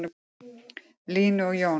Línu og Jón.